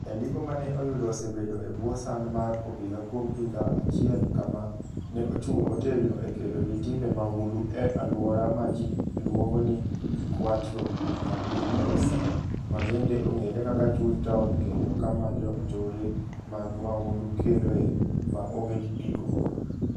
Jandiko ma ne oyudo osebedo e bwo sand mar obila kuom higa achiel kama, ne ochung ' motegno e kedo gi timbe mahundu e alwora ma ji luongo ni Cuatro Caminos, ma bende ong'ere kaka chuny taon kendo kama jonjore mag mahundu kedoe ma onge giko.